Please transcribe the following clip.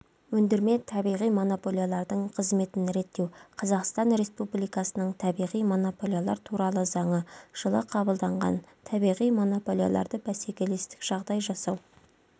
ендірме табиғи монополиялардың қызметін реттеу қазақстан республикасының табиғи монополиялар туралы заңы жылы қабылданған табиғи монополияларды бсекелестік жағдай жасау